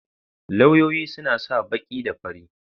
Lauyoyi suna sa baki da fari.